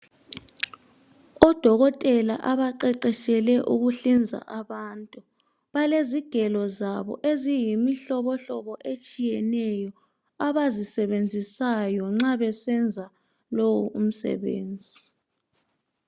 Odokotela abaqeqetshele ukuhlinza abantu . Balezigelo zabo eziyomihlobohlobo etshiyeneyo abazisebenzisayo nxa besenza lo umsebenzi.